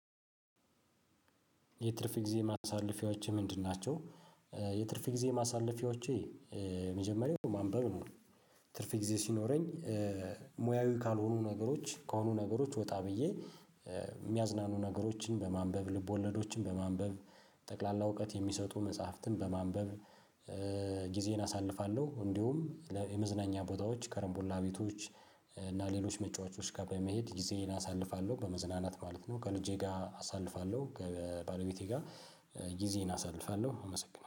የትርፍ ጊዜ ማሳለፊያዎቼ ምንድን ናቸው? የትርፍ ጊዜ ማሳለፊያዎቼ የመጀመሪያው ማንበብ ነው። ትርፍ ጊዜ ሲኖረኝ ሙያዊ ካልሆኑ ነገሮች ከሆኑ ነገሮች ወጣ ብዬ የሚያዝናኑ ነገሮችን በማንበብ ልቦለዶችን በማንበብ። ጠቅላላ እውቀት የሚሰጡ መጻሕፍትን በማንበብ ጊዜዬን አሳልፋለሁ። እንዲሁም የመዝናኛ ቦታዎች ከረምቡላ ቤቶች። እና ሌሎች መጫወቾች ጋር በመሄድ ጊዜዬን አሳልፋለሁ በመዝናናት ማለት ነው። ከልጄ ጋር አሳልፋለሁ ከባለቤቴ ጋር። ጊዜዬን አሳልፋለሁ አመሰግናለሁ